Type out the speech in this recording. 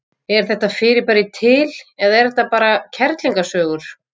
Er þetta fyrirbæri til eða er þetta bara kerlingasögur?